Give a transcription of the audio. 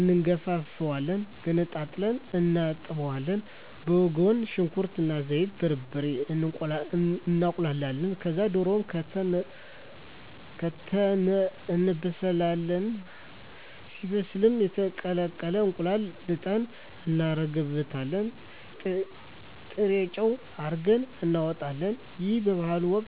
እንጋፍፋለን ገነጣጥለን እናጥባለን በጎን ሽንኩርት እና ዘይቱን፣ በርበሬውን እናቁላላለን ከዛ ድሮውን ከተን እናበስላለን ሲበስልልን የተቀቀለ እንቁላል ልጠን እናረግበታለን ጥሬጨው አርገን እናወጣለን ይህ በበዓል ወቅት ይደረጋል።